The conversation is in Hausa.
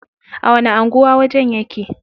A wani anguwa wajen yake?